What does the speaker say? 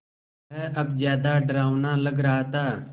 वह अब ज़्यादा डरावना लग रहा था